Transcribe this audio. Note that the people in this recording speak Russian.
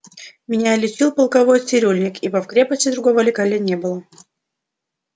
меня лечил полковой цирюльник ибо в крепости другого лекаря не было